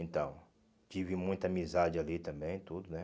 Então, tive muita amizade ali também, tudo, né?